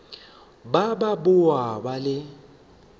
ba ba boa ba le